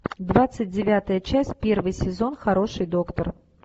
двадцать девятая часть первый сезон хороший доктор